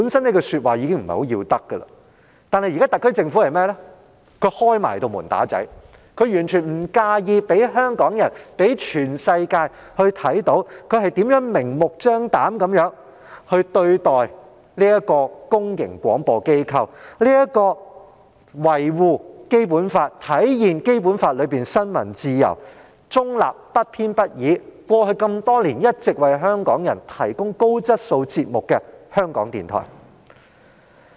這話本身已不甚要得，但現在特區政府更要"開門打仔"，完全不介意讓香港人和全世界看到他們如何明目張膽地對待這個公營廣播機構，這個維護《基本法》、體現《基本法》中新聞自由、中立、不偏不倚精神，並在過去多年一直為香港人提供高質素節目的港台。